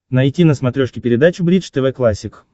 найти на смотрешке передачу бридж тв классик